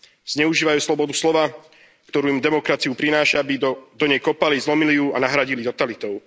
Zneužívajú slobodu slova, ktorú im demokracia prináša, aby do nej kopali, zlomili ju a nahradili totalitou.